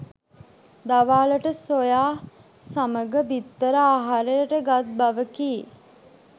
දවාලට soya සමග බිත්තර ආහාරයට ගත් බවකි